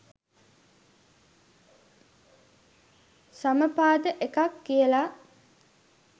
සමපාද එකක් කියල